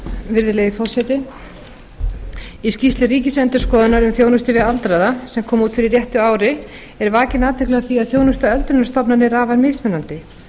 virðulegi forseti í skýrslu ríkisendurskoðunar um þjónustu við aldraða sem kom út fyrir réttu ári er vakin athygli á því að þjónusta við öldrunarstofnanir er afar mismunandi